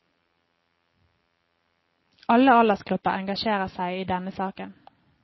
Alle aldersgrupper engasjerer seg i denne saken.